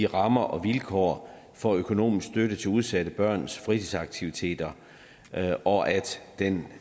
rammer og vilkår for økonomisk støtte til udsatte børns fritidsaktiviteter og at denne